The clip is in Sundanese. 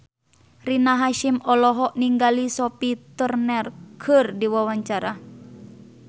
Rina Hasyim olohok ningali Sophie Turner keur diwawancara